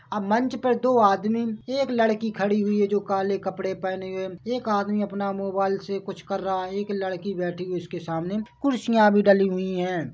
अब मंच पर दो आदमी एक लड़की खड़ी हुई है जो काले कपड़े पहने हुए है एक आदमी अपना मोबाइल से कुछ कर रहा है एक लड़की बैठी है उसके सामने कुर्सियां भी डली हुई है।